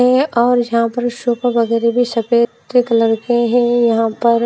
और एक यहां पर सफेदी कलर के है। यहां पर--